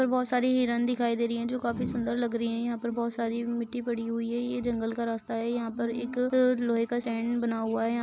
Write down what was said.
यहां पर बहुत सारी हिरण दिखाई दे रही है जो काफी सुंदर लग रही है यहां पर बहुत सारी मिट्टी पड़ी हुई है यह जंगल का रास्ता है यहां पर एक लोहे का स्टैन्ड बना हुआ है।